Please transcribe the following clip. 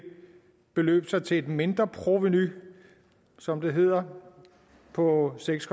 beløbe sig til et mindre provenu som det hedder på seks